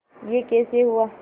यह कैसे हुआ